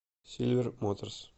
сильвер моторс